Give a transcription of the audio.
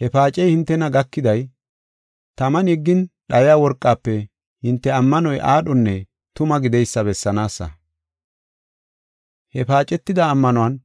He paacey hintena gakiday, taman yeggin dhayiya worqafe hinte ammanoy aadhonne tuma gideysa bessanaasa. He paacetida ammanuwan